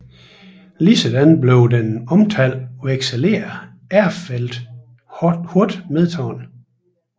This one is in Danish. Ligeledes blev den omtalte vekselerer Erfeldt hårdt medtaget